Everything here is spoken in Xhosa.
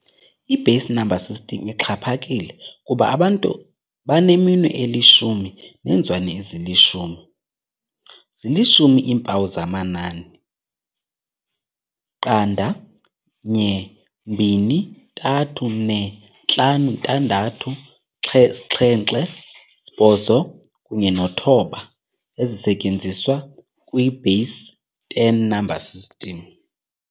I-base number system ixhaphakile kuba abantu baneminwe elishumi neenzwane ezilishumi. Zili-10 iimpawu zamanani, 0, 1, 2, 3, 4, 5, 6, 7, 8, kunye no-9, ezisetyenziswa kwi-base ten number system.